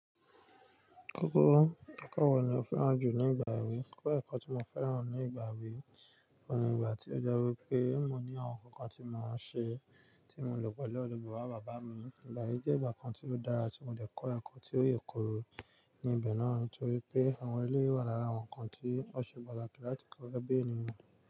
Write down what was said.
Akọ́ọ́kọ́, ki ko wọ́ ni o fẹ́ràn jù nígbà èwe. Kọ́ ẹ̀kọ́ tí mo fẹ́ràn jù nígbà èwe ni ìgbà tí ó jọ wí pé mo ní àwọn nǹkan tí mo máa ń ṣe, tí mo lò pẹ̀lú ọdẹ bàbá bàbá mi. Ìgbà yí jẹ́ ìgbà kan tí ó dára tí mo le kọ́ ẹ̀kọ́ tí ó yèkoro níbẹ̀ náà torí pé àwọn ilé wà lára àwọn nǹkan tí wọ́n ṣe gbọ́dọ̀ kí a tó gbé nílu.